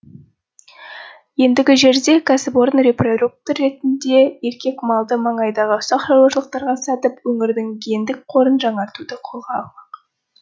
ендігі жерде кәсіпорын репродуктор ретінде еркек малды маңайдағы ұсақ шаруашылықтарға сатып өңірдің гендік қорын жаңартуды қолға алмақ